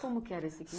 Como que era esse